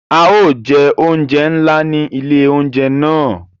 A yóò jẹ oúnjẹ nlá ni ilé oúnjẹ náà